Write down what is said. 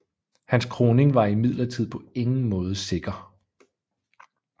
Hans kroning var imidlertid på ingen måde sikker